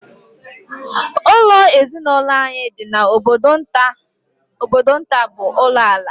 Ụlọ ezinụlọ anyị dị n'obodo nta bụ ulo ala